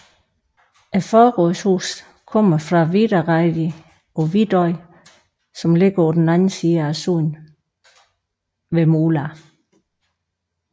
Forrådshuset kommer fra Vidareidi på Vidoy som ligger på den anden side sundet ved Mula